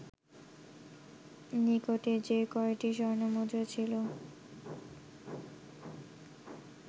নিকটে যে কয়টি স্বর্ণমুদ্রা ছিল